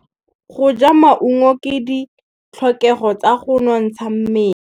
Go ja maungo ke ditlhokegô tsa go nontsha mmele.